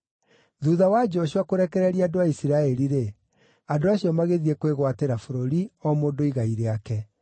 Thuutha wa Joshua kũrekereria andũ a Isiraeli-rĩ, andũ acio magĩthiĩ kwĩgwatĩra bũrũri, o mũndũ igai rĩake.